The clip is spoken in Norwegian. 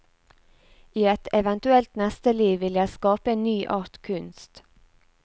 I et eventuelt neste liv vil jeg skape en ny art kunst.